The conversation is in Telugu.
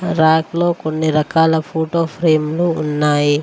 ర్యాక్ లో కొన్ని రకాల ఫోటో ఫ్రేమ్లు ఉన్నాయి.